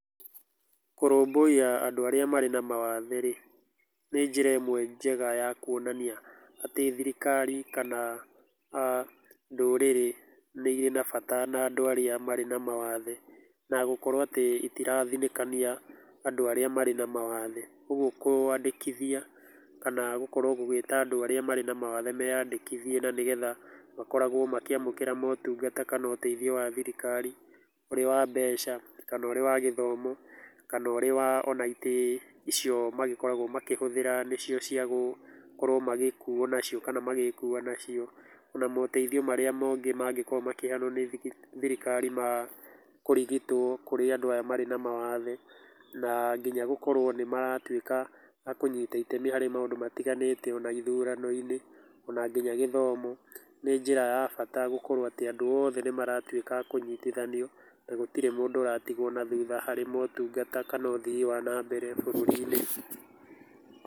Kũrũmbũiya andũ arĩa marĩ na mawathe rĩ, nĩ njĩra ĩmwe njega ya kuonania atĩ thirikari kana ndũrĩrĩ nĩ ĩrĩ na bata na andũ arĩa marĩ na mawathe, na gũkorũa atĩ itirathinĩkania andũ arĩa marĩ na mawathe. Ũguo kũandĩkithia kana gũkorwo gũgĩta andũ arĩa marĩ na mawathe meandĩkithie, na nĩgetha makorwo makĩamũkĩra motungata kana ũteithio wa thirikari, ũrĩ wa mbeca kana ũrĩ wa gĩthomo, kana ũrĩ wa ona itĩ icio magĩkoragwo makĩhũthĩra nĩcio ciagũgĩkorwo magĩkuo nacio kana magĩĩkua nacio. Ona moteithio marĩa mangĩ mangĩkorwo makĩheanwo nĩ thirikari ma kũrigitwo kũrĩ andũ aya marĩ na mawathe na nginya gũkorwo nĩ maratuĩka a kũnyita itemi harĩ maũndũ matiganĩte o na ithurano-inĩ o na nginya gĩthomo. Nĩ njĩra ya bata gũkorwo atĩ andũ othe nĩ maratuĩka a kũnyitithanio, na hatirĩ mũndũ ũratigwo na thutha harĩ motungata kana ũthii wa nambere bũrũri-inĩ.